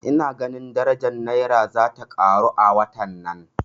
Ina ganin daraja Naira zata karo a watan nan